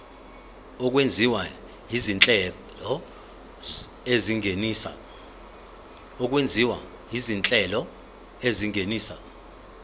okwenziwa izinhlelo ezingenisa